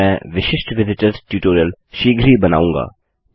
मैं विशिष्ट visitors tutorial शीघ्र ही बनाऊँगा